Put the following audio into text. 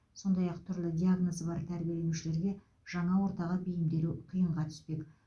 сондай ақ түрлі диагнозы бар тәрбиеленушілерге жаңа ортаға бейімделу қиынға түспек